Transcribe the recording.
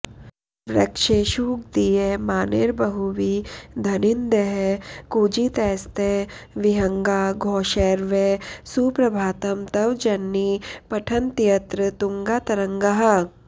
वृक्षेषूद्गीयमानैर्बहुविधनिनदैः कूजितैस्ते विहङ्गाः घोषैर्वै सुप्रभातं तव जननि पठन्त्यत्र तुङ्गातरङ्गाः